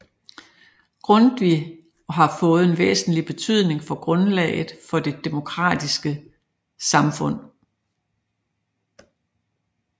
Grundtvig og har fået en væsentlig betydning for grundlaget for det demokratiske samfund